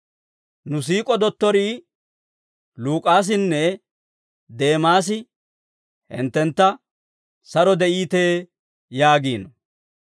Nu siik'o dottorii Luk'aasinne Deemaasi hinttentta saro de'iitee yaagiino.